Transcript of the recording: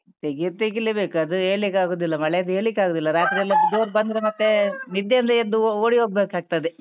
ತೆಗಿಯುದು ತೆಗಿಲೇ ಬೇಕು, ಅದು ಹೇಳಿಕ್ಕೆ ಆಗುದಿಲ್ಲ ಮಳೆದು ಹೇಳಿಕ್ಕೆ ಆಗುದಿಲ್ಲ, ರಾತ್ರಿ ಎಲ್ಲ ಜೋರು ಬಂದ್ರೆ ಮತ್ತೆ ನಿದ್ದೆ ಇಂದ ಎದ್ದು ಓಡಿ ಹೋಗ್ಬೇಕಾಗ್ತದೆ.